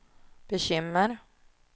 bekymmer